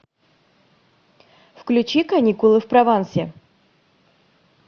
включи каникулы в провансе